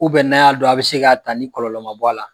n'a y'a don, a bi se ka taa ni kɔlɔlɔ ma bɔ a la.